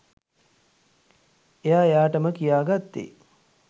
එයා එයාටම කියාගත්තේ